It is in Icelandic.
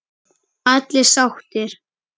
Allir sáttir?